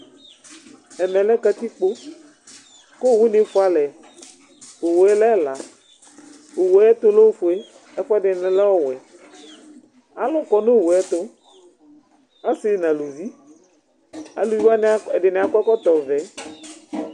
Ɛmɛ lɛ katikpo, ku owu ni fʋalɛ, Owue lɛ ɛla, owu tu lɛ ofue, ɛfʋɛdini lɛ ɔwɛ, aluku du Owue tu, ɔsi nu aluvi, aluvi wʋani ɛdi ni akɔ ɛkɔtɔ vɛ